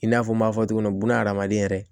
I n'a fɔ n m'a fɔ cogo min buna adamaden yɛrɛ